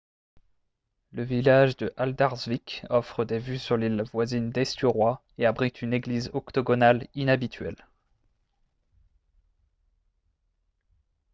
le village de haldarsvík offre des vues sur l’île voisine d’eysturoy et abrite une église octogonale inhabituelle